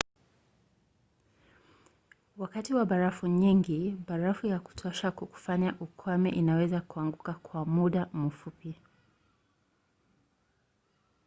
wakati wa barafu nyingi barafu ya kutosha kukufanya ukwame inaweza kuanguka kwa muda mfupi